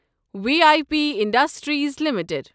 V I P industries limited